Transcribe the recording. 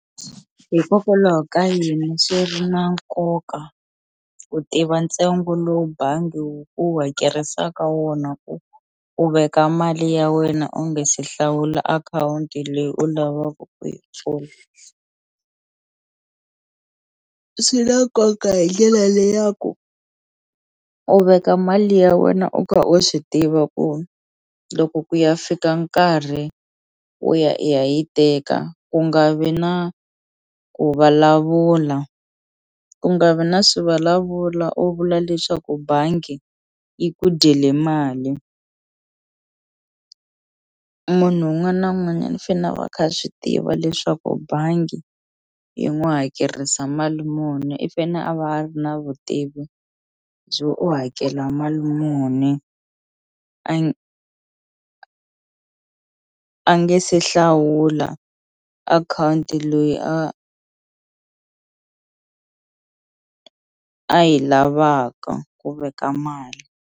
Hikokwalaho ka yini swi na nkoka ku tiva ntsengo lowu bangi wu ku hakerisaka wona ku u veka mali ya wena u nge se hlawula akhawunti leyi u lavaku ku yi pfula swi na nkoka hi ndlela leyi ya ku u veka mali ya wena u kha u swi tiva ku loko ku ya fika nkarhi wo ya i ya yi teka ku nga vi na ku vulavula ku nga vi na swivulavula u vula leswaku bangi yi ku dyele mali munhu wun'wana na wun'wanyani u fene a va kha swi tiva leswaku bangi yi n'wi hakerisa mali muni i fene a va a ri na vutivi byo u hakela mali muni a nge se hlawula akhawunti loyi a a yi lavaka ku veka mali.